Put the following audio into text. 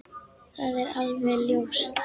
Það er alveg ljóst!